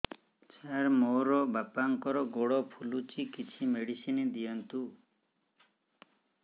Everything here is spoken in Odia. ସାର ମୋର ବାପାଙ୍କର ଗୋଡ ଫୁଲୁଛି କିଛି ମେଡିସିନ ଦିଅନ୍ତୁ